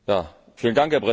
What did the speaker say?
Herr Präsident!